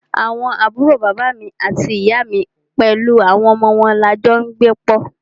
Àwọn àbúrò bàbá àti ìyá mí pẹlú àwọn ọmọ wọn ní a jọ n gbé pọ́.